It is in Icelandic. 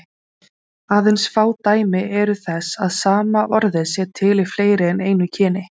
Aðeins fá dæmi eru þess að sama orðið sé til í fleiri en einu kyni.